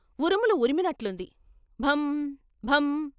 ఉరుములు ఉరిమినట్లుంది, భం భం.